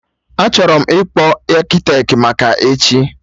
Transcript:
Achọrọ m ịkpọ Akịtet maka echi